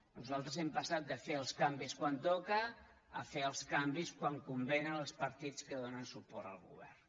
nosaltres hem passat de fer els canvis quan toca a fer els canvis quan convé als partits que donen suport al govern